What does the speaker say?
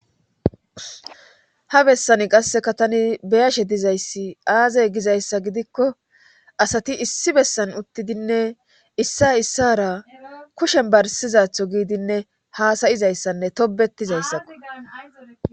Ha bessani qasseka tani beyashe dizayssi aazay gizayssa gidikko asati issi bessan uttidinne issa issara kushen barsizatho giidinne haasayizayssanne tobetizayssakko.